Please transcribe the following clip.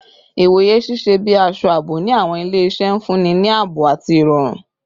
Iwoye ṣiṣẹ bi aṣọ aabo ni awọn ile-iṣẹ, nfunni ni aabo ati irọrun